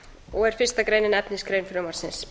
og er fyrsta grein efnisgrein frumvarpsins